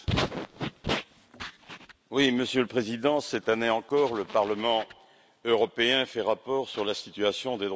Monsieur le Président, cette année encore, le Parlement européen fait rapport sur la situation des droits fondamentaux au sein de l'Union.